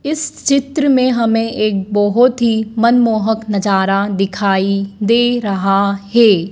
इस चित्र में हमें एक बहोत ही मनमोहक नजारा दिखाई दे रहा है।